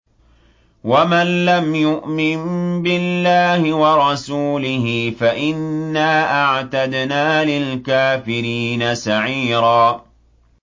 وَمَن لَّمْ يُؤْمِن بِاللَّهِ وَرَسُولِهِ فَإِنَّا أَعْتَدْنَا لِلْكَافِرِينَ سَعِيرًا